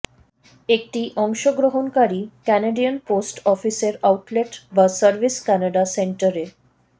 একটি অংশগ্রহণকারী Canadian post অফিসের আউটলেট বা সার্ভিস কানাডা সেন্টার এ